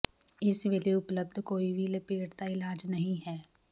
ਇਸ ਵੇਲੇ ਉਪਲਬਧ ਕੋਈ ਵੀ ਲਪੇਟ ਦਾ ਇਲਾਜ ਨਹੀਂ ਹੈ